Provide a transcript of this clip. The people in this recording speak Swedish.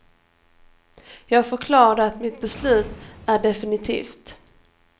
Jag förklarade att mitt beslut är definitivt.